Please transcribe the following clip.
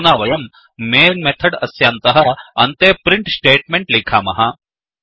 अधुना वयं main method अस्यान्तः अन्ते प्रिण्ट् स्टेट्मेण्ट् लिखामः